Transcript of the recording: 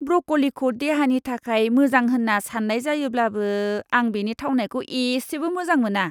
ब्रक'लिखौ देहानि थाखाय मोजां होन्ना सान्नाय जायोब्लाबो आं बेनि थावनायखौ एसेबो मोजां मोना!